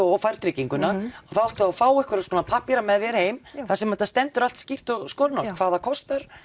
og færð trygginguna þá áttu að fá einhverja svona pappíra með þér heim þar sem það stendur allt skýrt og skorinort hvað það kostar